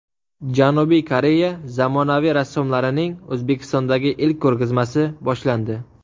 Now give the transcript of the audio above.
Janubiy Koreya zamonaviy rassomlarining O‘zbekistondagi ilk ko‘rgazmasi boshlandi.